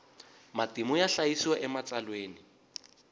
matimu ya hlayisiwa ematsalweni